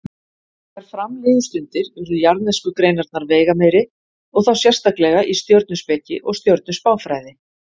Þegar fram liðu stundir urðu jarðnesku greinarnar veigameiri og þá sérstaklega í stjörnuspeki og stjörnuspáfræði.